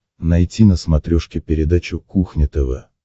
найти на смотрешке передачу кухня тв